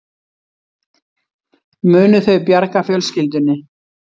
Munu þau bjarga fjölskyldunni